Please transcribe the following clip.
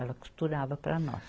Ela costurava para nós.